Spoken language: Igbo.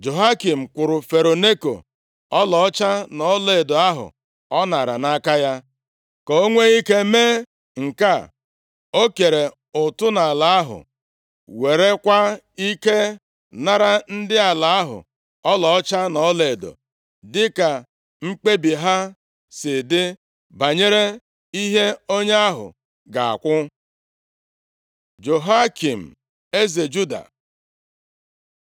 Jehoiakim kwụrụ Fero Neko ọlaọcha na ọlaedo ahụ ọ nara nʼaka ya. Ka o nwee ike mee nke a, o kere ụtụ nʼala ahụ, werekwa ike nara ndị ala ahụ ọlaọcha na ọlaedo, dịka mkpebi ha si dị banyere ihe onye ahụ ga-akwụ. Jehoiakim eze Juda